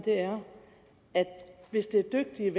er at hvis det er dygtige